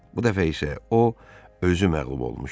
Bu dəfə isə o özü məğlub olmuşdu.